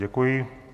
Děkuji.